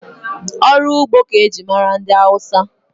Ọrụ ugbo ka eji mara ndị Hausa.